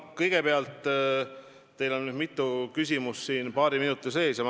Kõigepealt, siin kõlas nüüd paari minuti jooksul mitu küsimust.